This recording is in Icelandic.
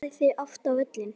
Farið þið oft á völlinn?